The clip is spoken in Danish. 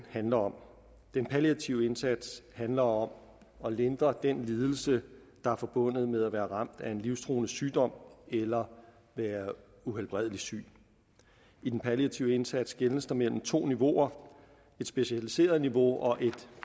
handler om den palliative indsats handler om at lindre den lidelse der er forbundet med at være ramt af en livstruende sygdom eller være uhelbredeligt syg i den palliative indsats skelnes der mellem to niveauer et specialiseret niveau og et